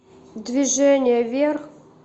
движение вверх